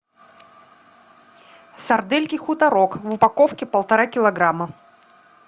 сардельки хуторок в упаковке полтора килограмма